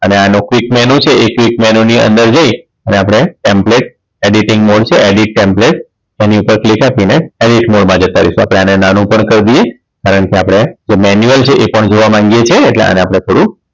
અને આનું click menu છે એ click menu ની અંદર જઈ અને આપણે template editing mode છે edit template એની ઉપર click આપીને edit mode માં જતા રહીશું આપણે આને નાનું પણ કરી દઈએ કારણ કે આપણે manual છે એ પણ જોવા માંગીએ છીએ એટલે આપણે આને થોડું